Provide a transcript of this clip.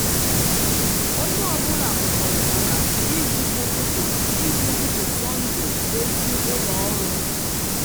onye ọ bụla kwekọrịtara iji ụtụtụ iji ụtụtụ sọnde dozi ụlọ ọnụ.